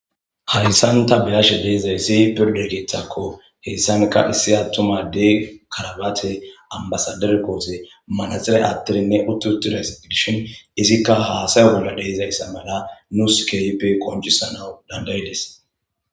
Harissanta beyash deezayssi pirdekithakko heessanka issi attumadey karabaate ambasadere koose manaxile attirinne uttutudeys dishin izikka haasayo bolla deizayssa mala nuu skeyppe qoncisana dandayides.